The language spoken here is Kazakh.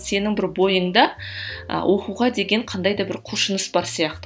сенің бір бойыңда ы оқуға деген қандай да бір құлшыныс бар сияқты